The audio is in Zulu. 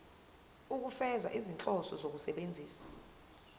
ukufeza izinhloso zokusebenzisa